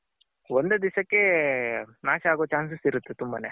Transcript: ಒಂದೇ ದಿಸಕ್ಕೆ ನಾಶ ಆಗೋ Chances ಇರುತ್ತೆ ತುಂಬಾನೇ.